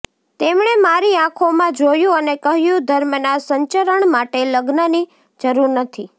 તેમણે મારી આંખોમાં જોયુ અને કહ્યું ધર્મના સંચરણ માટે લગ્નની જરૂર નથી